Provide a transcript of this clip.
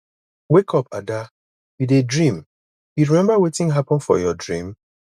wake up ada you dey dream you remember wetin happen for your dream